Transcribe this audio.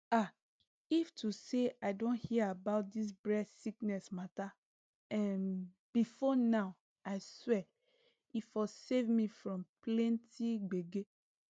ah if to say i don hear about dis breast sickness matter um before now i swear e for save me from plenty gbege